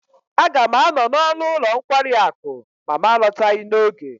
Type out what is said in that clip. Aga m anọ n'ọnụ ụlọ nkwari akụ ma m alọtaghi n'oge.